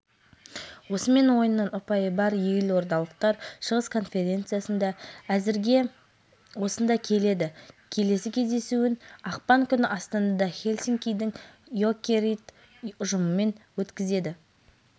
матчтың негізгі голдары екінші минутта соғылды минутта никита мицкевич мергендігімен танылып есепті еселей түсті араға минут салып брэндон боченски барыстың алғашқы